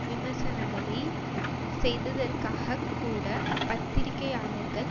விமர்சனங்களை செய்ததற்காகக் கூட பத்திரிகையாளர்கள்